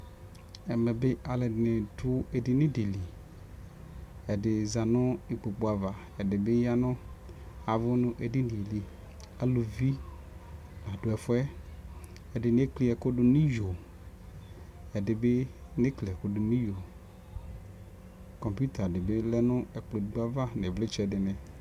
Ɛmɛ bi alʋɛdini dʋ edini di li, ɛdi za nʋ ikpokʋ ava, ɛdi bi yavʋ nʋ edini yɛ li Alʋvi la dʋ ɛfuɛ, ɛdini ekli ɛkʋ dʋ niyo, ɛdi bi nekli ɛkʋ dʋ niyo Kɔmpita di bi lɛ nʋ ɛkplɔ edigbo ava n'ivlitsɛ di ni